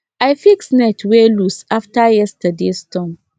i fix net wey loose after yesterdays storm